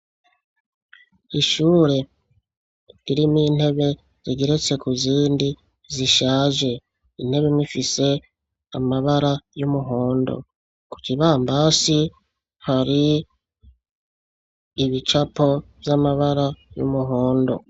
Ishure rimwo intebe zigeretse ku zindi zishaje intebe imwe ifise amabara y'umuhondo ku kibambazi hari ibicapo vy'amabara y'umuhondo.